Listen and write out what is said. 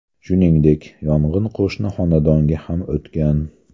Shuningdek, yong‘in qo‘shni xonadonga ham o‘tgan.